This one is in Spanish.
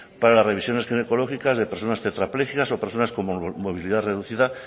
para las revisiones ginecológicas de personas tetrapléjicas o de personas con movilidad reducida